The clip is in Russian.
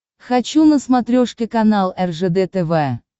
хочу на смотрешке канал ржд тв